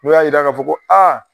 N'u y'a jira k'a fɔ ko a